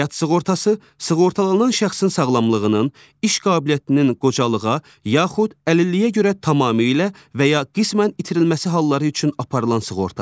Həyat sığortası sığortalanan şəxsin sağlamlığının, iş qabiliyyətinin qocalığa, yaxud əlilliyə görə tamamilə və ya qismən itirilməsi halları üçün aparılan sığortadır.